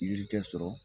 Yiriden sɔrɔ